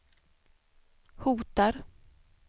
hotar